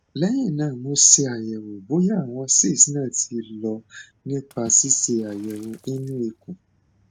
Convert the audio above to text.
lẹyìn náà mo ṣàyẹwò bóyá àwọn cysts náà ti lọ nípa ṣíṣe àyẹwò inú ikùn